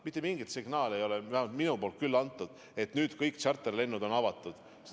Mitte mingit signaali ei ole antud – vähemalt mina küll ei ole –, et nüüd on kõik tšarterlennud avatud.